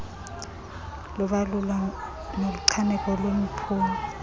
lobalulwa nokuchaneka kweziphumo